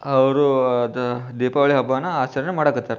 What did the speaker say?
ಅವರು ಅದ ದೀಪಾವಳಿ ಹಬ್ಬನಾ ಆಚರಣೆ ಮಾಡಕತ್ತಾರ.